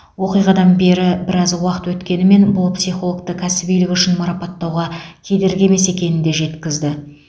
оқиғадан бері біраз уақыт өткенімен бұл психологты кәсібилігі үшін марапаттауға кедергі емес екенін де жеткізді